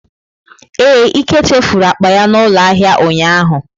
Ee, Ike chefuru akpa ya n'ulo ahia ụnyahụ.